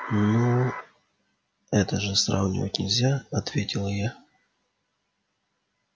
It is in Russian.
ну это же сравнивать нельзя ответила я